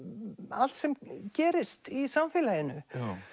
allt sem gerist í samfélaginu